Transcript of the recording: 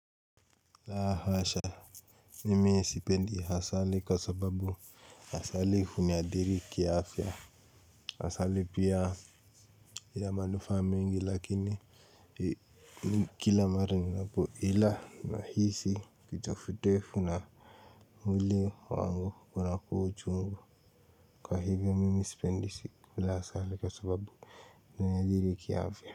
La hasha mimi sipendi asali kwa sababu asali huniadhiri ki afya asali pia ina manufaa mengi lakini kila mara ninapoila nahisi kitefutefu na mwili wangu unakuwa uchungu kwa hivyo mimi sipendi kula asali kwa sababu huniadhiri kiafya.